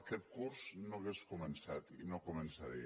aquest curs no hauria començat i no començaria